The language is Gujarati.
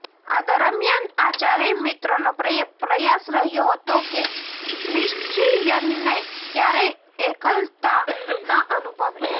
આ દરમિયાન આ ચારેય મિત્રોનો પ્રયાસ રહ્યો હતો કે ક્રિશ્ચિયનને ક્યારેક એકલતા ન અનુભવે